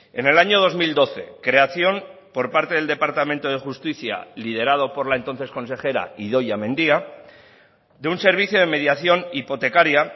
en el año dos mil doce creación por parte del departamento de justicia liderado por la entonces consejera idoia mendia de un servicio de mediación hipotecaria